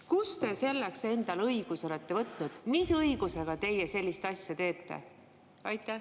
Kust te selleks endale õiguse olete võtnud, mis õigusega te sellist asja teete?